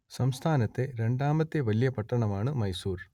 സംസ്ഥാനത്തെ രണ്ടാമത്തെ വലിയ പട്ടണമാണ് മൈസൂർ